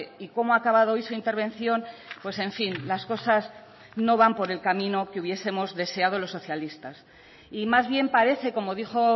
y cómo ha acabado hoy su intervención pues en fin las cosas no van por el camino que hubiesemos deseado los socialistas y más bien parece como dijo